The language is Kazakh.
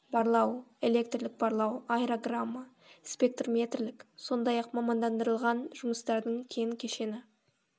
барлау электрлік барлау аэрограмма спектрметрлік сондай ақ мамандандырылған жұмыстардың кен кешені